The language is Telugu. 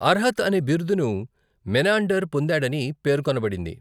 అర్హత్ అనే బిరుదును మెనాండర్ పొందాడని పేర్కొనబడింది.